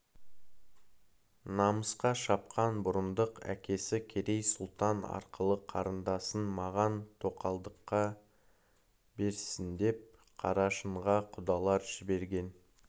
намысқа шапқан бұрындық әкесі керей сұлтан арқылы қарындасын маған тоқалдыққа берсіндеп қарашыңға құдалар жіберген